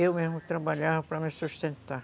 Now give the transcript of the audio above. Eu mesmo trabalhava para me sustentar.